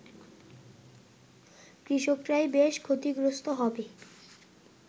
কৃষকরাই বেশি ক্ষতিগ্রস্ত হবে